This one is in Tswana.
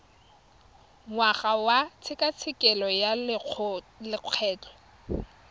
ngwaga wa tshekatsheko ya lokgetho